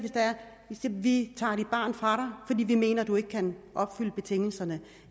vi tager dit barn fra fordi vi mener at du ikke kan opfylde betingelserne